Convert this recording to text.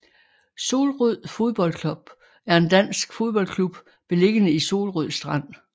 Solrød Fodbold Club er en dansk fodboldklub beliggende i Solrød Strand